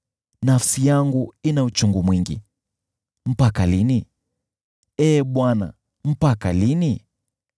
Nafsi yangu ina uchungu mwingi. Mpaka lini, Ee Bwana , mpaka lini?